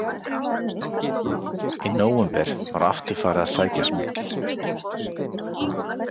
Í nóvember var aftur farið að sækja smygl.